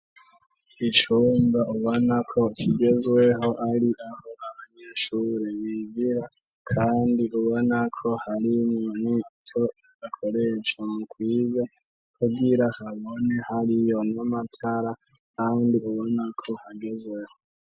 Icumba ubonako kigezweho ari aho abanyeshure bigira kandi ubonako hari nini co akoresha mu kwiga kugira habone hariyo n'amatara kandi ubonako hagezweho.